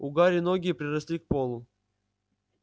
у гарри ноги приросли к полу